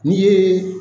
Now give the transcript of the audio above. N'i yeee